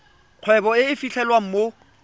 kgwebo e e fitlhelwang mo